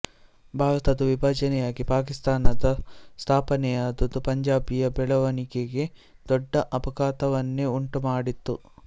ಭಾರತದ ವಿಭಜನೆಯಾಗಿ ಪಾಕಿಸ್ತಾನದ ಸ್ಥಾಪನೆಯಾದುದು ಪಂಜಾಬಿಯ ಬೆಳವಣಿಗೆಗೆ ದೊಡ್ಡ ಆಘಾತವನ್ನೆ ಉಂಟು ಮಾಡಿತು